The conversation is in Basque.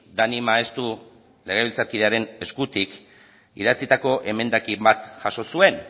dani maeztu legebiltzarkidearen eskutik idatzitako emendakin bat jaso zuen